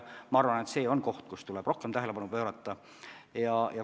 Ma arvan, et see on teema, millele tuleb rohkem tähelepanu pöörata.